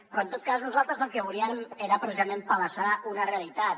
però en tot cas nosaltres el que volíem era precisament palesar una realitat